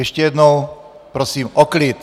Ještě jednou prosím o klid!